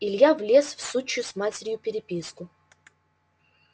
илья влез в сучью с матерью переписку